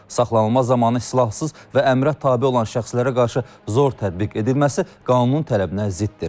Saxlanılma zamanı silahsız və əmrə tabe olan şəxslərə qarşı zor tətbiq edilməsi qanunun tələbinə ziddir.